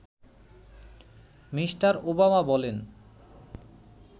Me. Obama বলেন